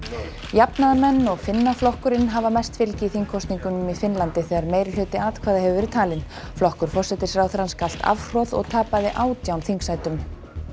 jafnaðarmenn og Finnaflokkurinn hafa mest fylgi í þingkosningum í Finnlandi þegar meirihluti atkvæða hefur verið talinn flokkur forsætisráðherrans galt afhroð og tapaði átján þingsætum